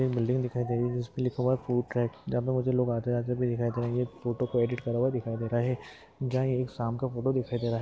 एक बिल्डिंग दिखाई दे रही है जिसपे लिखा हुआ है फ़ूड ट्रक लोग आते जाते भी दिखाई दे रहे है एक फोटो को एडिट करा हुआ दिखाई दे रहा है जहा एक शाम का फोटो दिखाई दे रहा है।